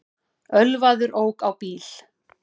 Ölvaður ók á bíl